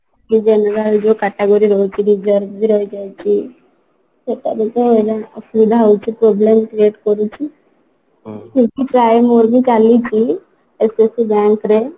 କି general ଯଉ category ରହୁଛି ବି ରହିଯାଉଛି ସେଟା ବି ତ ହଇରାଣ ଅସୁବିଧା ହଉଛି problem create କରୁଛି ସେଥିପାଇଁ ମୋର ବି ଚାଲିଛି SSC bank ରେ